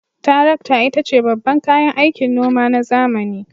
Tarakta ita ce babban kayan aikin noma na zamani.